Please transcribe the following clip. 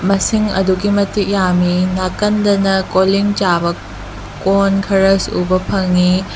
ꯃꯁꯤꯡ ꯑꯗꯨꯒꯤ ꯃꯇꯤꯛ ꯌꯥꯝꯏ ꯅꯥꯀꯟꯗꯅ ꯀꯣꯂꯤꯡ ꯆꯥꯕ ꯀꯣꯟ ꯈꯔꯁꯨ ꯎꯕ ꯐꯪꯏ꯫